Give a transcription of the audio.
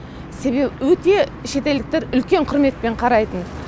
себебі өте шетелдіктер үлкен құрметпен қарайтын